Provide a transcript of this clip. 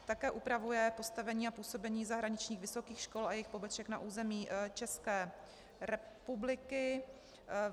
Také upravuje postavení a působení zahraničních vysokých škol a jejich poboček na území České republiky.